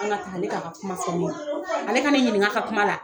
an ka don kuma fɔ ale ka ne ɲininka ka kuma na